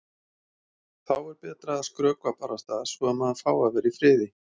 Þá er betra að skrökva barasta svo að maður fái að vera í friði.